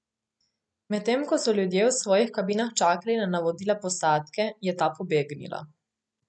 Medtem ko so ljudje v svojih kabinah čakali na navodila posadke, je ta pobegnila.